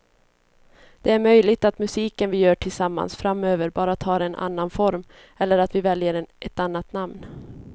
Det är möjligt att musiken vi gör tillsammans framöver bara tar en annan form eller att vi väljer ett annat namn.